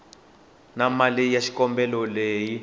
na mali ya xikombelo leyi